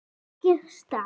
Mamma hennar.